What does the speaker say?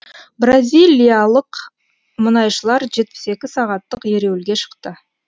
бразилиялық мұнайшылар жетпіс екі сағаттық ереуілге шықты